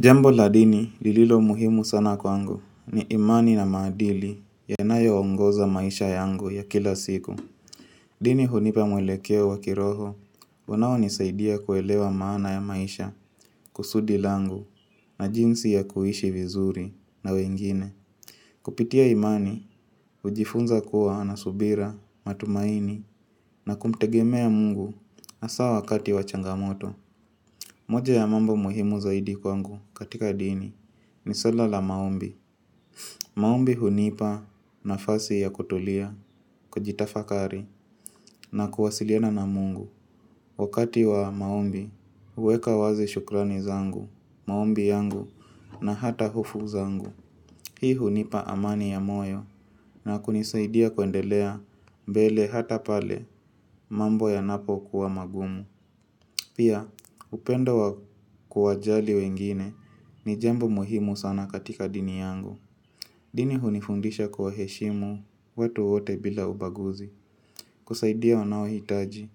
Jambo la dini lililo muhimu sana kwangu ni imani na maadili yanayoongoza maisha yangu ya kila siku. Dini hunipa mwelekeo wa kiroho, unaonisaidia kuelewa maana ya maisha kusudi langu na jinsi ya kuishi vizuri na wengine. Kupitia imani, hujifunza kuwa na subira, matumaini na kumtegemea mungu hasa wakati wa changamoto. Moja ya mambo muhimu zaidi kwangu katika dini ni sela la maombi. Maombi hunipa nafasi ya kutulia, kujitafakari na kuwasiliana na mungu. Wakati wa maombi, huweka wazi shukrani zangu, maombi yangu na hata hofu zangu. Hii hunipa amani ya moyo na kunisaidia kuendelea mbele hata pale mambo yanapokuwa magumu. Pia, upendo wa kuwajali wengine ni jambo muhimu sana katika dini yangu. Dini hunifundisha kuwaheshimu watu wote bila ubaguzi. Kusaidia wanaohitaji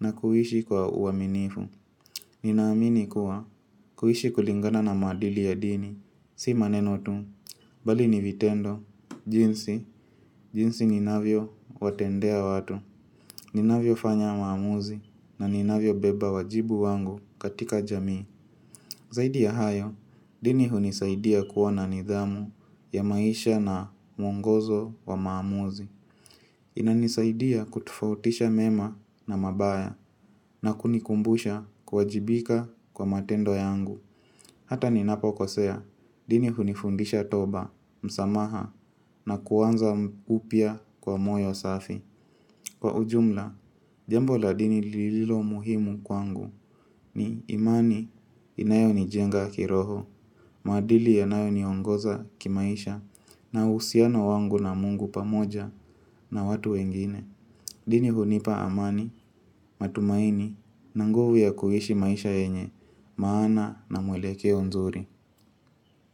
na kuishi kwa uaminifu. Ninaamini kuwa kuishi kulingana na maadili ya dini. Si maneno tu, bali ni vitendo. Jinsi, jinsi ninavyowatendea watu. Ninavyofanya maamuzi na ninavyobeba wajibu wangu katika jamii. Zaidi ya hayo, dini hunisaidia kuwa na nidhamu ya maisha na mwongozo wa maamuzi. Inanisaidia kutofautisha mema na mabaya na kunikumbusha kuwajibika kwa matendo yangu. Hata ninapokosea, dini hunifundisha toba, msamaha na kuanza upya kwa moyo safi. Kwa ujumla, jambo la dini lililo muhimu kwangu ni imani inayonijenga kiroho. Maadili yanayoniongoza kimaisha na uhusiano wangu na mungu pamoja na watu wengine. Dini hunipa amani, matumaini, na nguvu ya kuishi maisha yenye maana na mwelekeo nzuri.